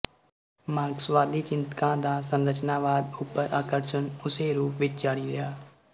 ਮਾਰਕਸਵਾਦੀ ਚਿੰਤਕਾਂ ਦਾ ਸੰਰਚਨਾਵਾਦ ਉਪਰ ਆਕਰਸ਼ਣ ਉਸੇ ਰੂਪ ਵਿੱਚ ਜਾਰੀ ਰਿਹਾ